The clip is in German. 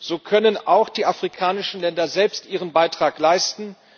So können auch die afrikanischen Länder selbst ihren Beitrag leisten.